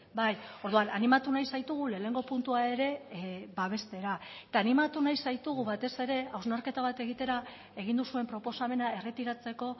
bai orduan animatu nahi zaitugu lehenengo puntua ere babestera eta animatu nahi zaitugu batez ere hausnarketa bat egitera egin duzuen proposamena erretiratzeko